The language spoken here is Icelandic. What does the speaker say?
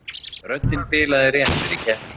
Röddin bilaði rétt fyrir keppni